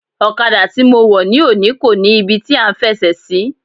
Ọ̀kadà tí mo wọ̀ ni òní kò ní ibi tí à ń fẹsẹ̀ sí.